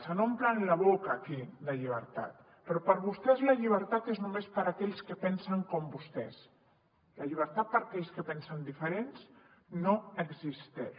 se n’omplen la boca aquí de llibertat però per a vostès la llibertat és només per a aquells que pensen com vostès la llibertat per a aquells que pensen diferent no existeix